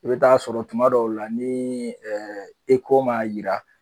I bɛ taa sɔrɔ tuma dɔw la ni ECHO man yira